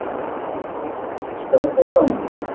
Bandaríkjunum, Þýskalandi og Danmörku.